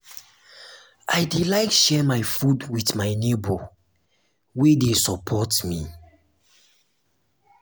i dey like share my food wit my nebor wey dey support me.